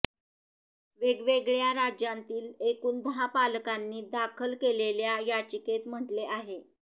वेगवेगळ्या राज्यांतील एकूण दहा पालकांनी दाखल केलेल्या याचिकेत म्हटले आहे